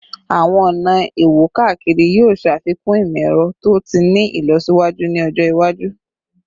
Awọn ọna iwo-kakiri yoo ṣafikun imọ-ẹrọ to ti ni ilọsiwaju ni ọjọ iwaju